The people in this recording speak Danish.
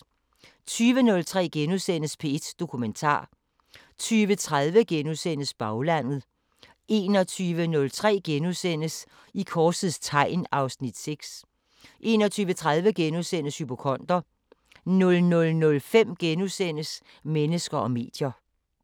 20:03: P1 Dokumentar * 20:30: Baglandet * 21:03: I korsets tegn (Afs. 6)* 21:30: Hypokonder * 00:05: Mennesker og medier *